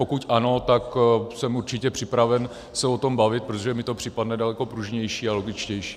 Pokud ano, tak jsem určitě připraven se o tom bavit, protože mi to přijde daleko pružnější a logičtější.